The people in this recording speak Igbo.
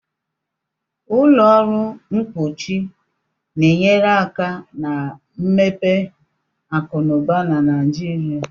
Ụlọ ọrụ mkpuchi na-enyere aka na mmepe akụ na ụba na Nigeria